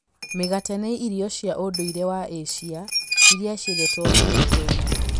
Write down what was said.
Mĩgate nĩ irio cia ũndũire wa Asia iria ciendetwo mũno Kenya.